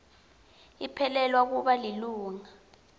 liphelelwa kuba lilunga